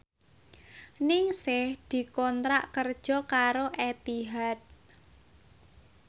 Ningsih dikontrak kerja karo Etihad